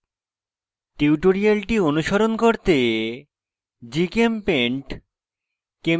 tutorial অনুসরণ করতে